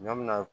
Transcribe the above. Ɲɔ min na